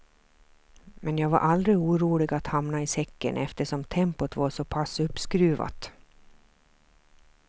Men jag var aldrig orolig att hamna i säcken eftersom tempot var såpass uppskruvat.